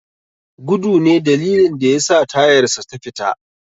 Gudu ne dalilin da yasa tayarsa ta fita.